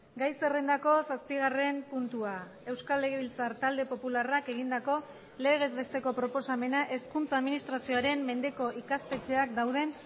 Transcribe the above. gai zerrendako zazpigarren puntua euskal legebiltzar talde popularrak egindako legez besteko proposamena hezkuntza administrazioaren mendeko ikastetxeak dauden